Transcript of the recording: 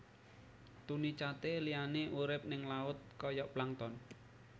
Tunicata liyané urip ning laut kaya plankton